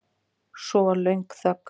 Svo var löng þögn.